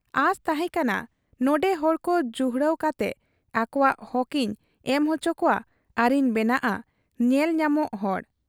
ᱟᱸᱥ ᱛᱟᱦᱮᱸ ᱠᱟᱱᱟ ᱱᱚᱱᱰᱮ ᱦᱚᱲᱠᱚ ᱡᱩᱦᱲᱟᱹᱣ ᱠᱟᱛᱮ ᱟᱠᱚᱣᱟᱜ ᱦᱚᱠ ᱤᱧ ᱮᱢ ᱚᱪᱚᱠᱚᱣᱟ ᱟᱨᱤᱧ ᱵᱮᱱᱟᱣᱜ ᱟ ᱧᱮᱞ ᱧᱟᱢᱚᱜ ᱦᱚᱲ ᱾